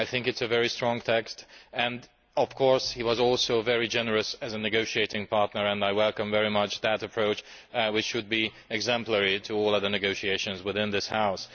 I think it is a very strong text, and of course, he was also very generous as a negotiating partner and I welcome very much that approach, which should be exemplary to all other negotiations within this House.